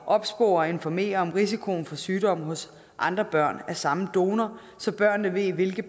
opspore og informere om risikoen for sygdom hos andre børn af samme donor så børnene ved ved